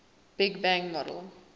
big bang model